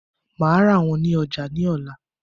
Màá rà wón ní ojà ní òla